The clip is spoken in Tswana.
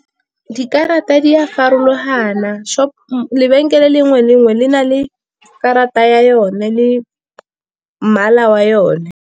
Dikarata di farologana, lebenkele le nngwe le nngwe le na le karata ya yone le mmala wa yone.